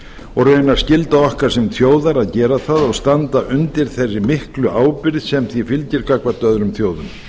og raunar skylda okkar sem þjóðar að gera það og standa undir þeirri miklu ábyrgð sem því fylgir gagnvart öðrum þjóðum